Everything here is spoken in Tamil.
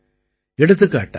எடுத்துக்காட்டாக ஐ